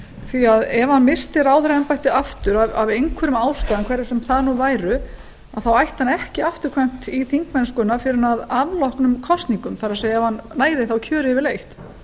því ef hann missti ráðherraembættið aftur af einhverjum ástæðum hverjar sem þær nú væru þá ætti hann ekki afturkvæmt í þingmennsku fyrr en að afloknum kosningum það er ef hann næði þá kjöri yfirleitt